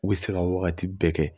U bɛ se ka wagati bɛɛ kɛ